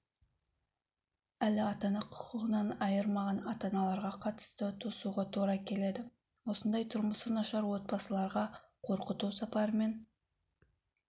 әлі ата-ана құқығынан айырмаған атан-аналарға қатысты тосуға тура келеді осындай тұрмысы нашар отбасыларға қорқыту сапарымен